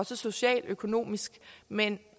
social og økonomisk men